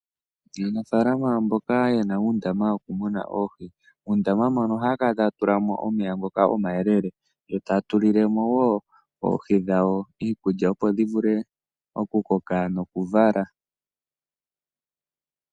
Aanafalama mboka yena uundama woku muna oohi muundama moka oha kala taya tula mo omeya ngoka omayelele. Yo taya tulile mo wo oohi dhawo iikulya opo dhi vule oku koka noku vala.